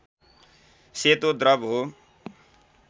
सेतो द्रव हो